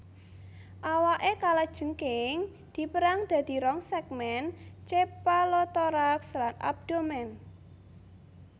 Awaké kalajengking dipérang dadi rong sègmèn cephalothorax lan abdomen